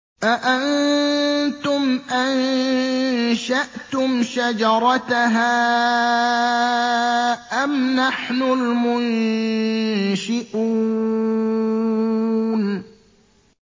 أَأَنتُمْ أَنشَأْتُمْ شَجَرَتَهَا أَمْ نَحْنُ الْمُنشِئُونَ